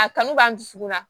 A kanu b'an dusukun na